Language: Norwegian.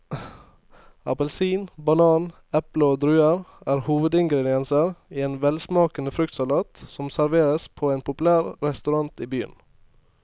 Appelsin, banan, eple og druer er hovedingredienser i en velsmakende fruktsalat som serveres på en populær restaurant i byen.